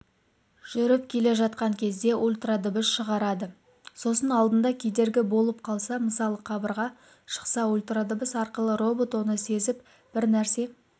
жүріп келе жатқан кезде ультрадыбыс шығарады сосын алдында кедергі болып қалса мысалы қабырға шықса ультрадыбыс арқылы робот оны сезіп бір нәрсе